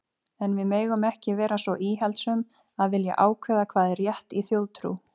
En við megum ekki vera svo íhaldssöm að vilja ákveða hvað er rétt þjóðtrú.